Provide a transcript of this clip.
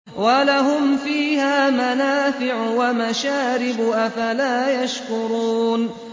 وَلَهُمْ فِيهَا مَنَافِعُ وَمَشَارِبُ ۖ أَفَلَا يَشْكُرُونَ